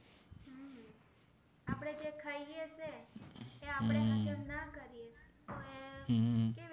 તે આપણે હાજાં ના કરીયે તો એ